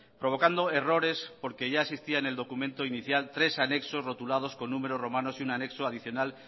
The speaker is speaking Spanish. provocando errores porque ya existía en el documento inicial tres anexos rotulados con números romanos y un anexo adicional